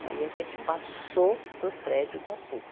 Daí a gente passou para o prédio da Pu.